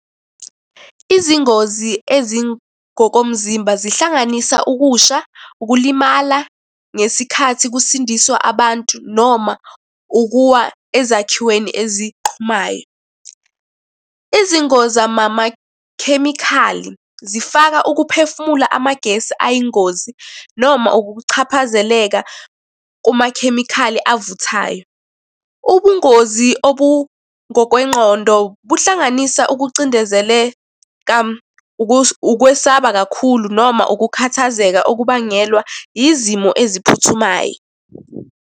Izingozi ezingokomzimba zihlanganisa ukusha, ukulimala ngesikhathi kusindiswa abantu, noma ukuwa ezakhiweni eziqhumayo. Izingozi zamakhemikhali, zifaka ukuphefumula amagesi ayingozi noma ukukuchaphazeleka kumakhemikhali avuthayo. Ubungozi obungokwengqondo buhlanganisa ukucindezeleka, ukwesaba kakhulu, noma ukukhathazeka okubangelwa izimo eziphuthumayo.